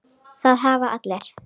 Það hafa allir